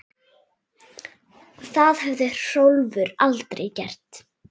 Það hefði Hrólfur aldrei gert.